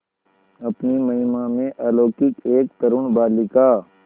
अपनी महिमा में अलौकिक एक तरूण बालिका